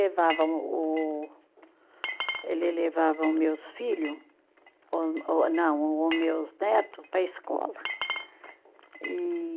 Levava o o, ele levava o meus filho, ô ô não, o o meus neto para a escola, e